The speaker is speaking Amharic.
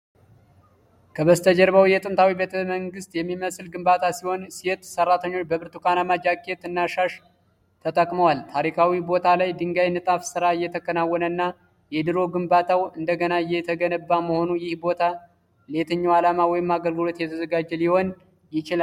ከበስተጀርባው የጥንታዊ ቤተ መንግሥት የሚመስል ግንባታ ሲሆን፣ ሴት ሠራተኞች በብርቱካንማ ጃኬት እና ሻሽ ተጠቅመዋል። ታሪካዊ ቦታ ላይ የድንጋይ ንጣፍ ሥራ እየተከናወነና የድሮ ግንባታው እንደገና እየተገነባ መሆኑ፣ ይህ ቦታ ለየትኛው ዓላማ ወይም አገልግሎት እየተዘጋጀ ሊሆን ይችላል?